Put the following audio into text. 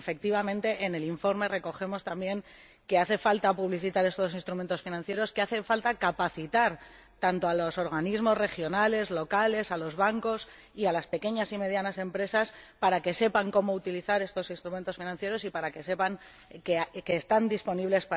Efectivamente, en el informe recogemos también que hace falta publicitar estos instrumentos financieros, que hace falta capacitar tanto a los organismos regionales y locales como a los bancos y a las pequeñas y medianas empresas, para que sepan cómo utilizar estos instrumentos financieros y para que sepan que están a su disposición.